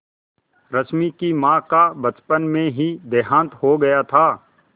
रश्मि की माँ का बचपन में ही देहांत हो गया था